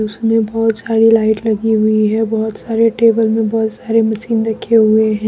उसमें बहुत सारी लाइट लगी हुई है बहुत सारे टेबल में बहुत सारे मशीन रखे हुए है।